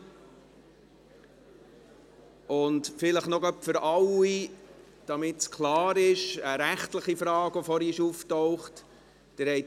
Damit es klar ist, vielleicht noch für alle einen Hinweis zu einer rechtlichen Frage, die vorhin aufgetaucht ist: